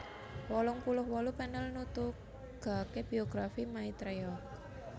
wolung puluh wolu panel nutugake Biografi Maitreya